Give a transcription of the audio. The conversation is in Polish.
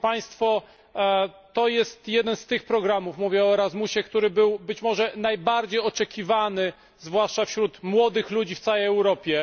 To jest jeden z tych programów mówię o Erasmusie który był, być może, najbardziej oczekiwany, zwłaszcza przez młodych ludzi, w całej Europie.